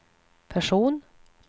person